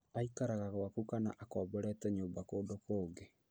Aikaraga gwaku kana akomborete nyũmba kũndũ kũngi